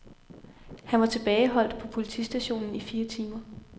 Han var tilbageholdt på politistationen i fire timer.